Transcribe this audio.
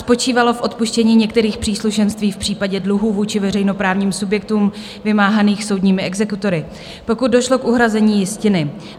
Spočívalo v odpuštění některých příslušenství v případě dluhů vůči veřejnoprávním subjektům vymáhaných soudními exekutory, pokud došlo k uhrazení jistiny.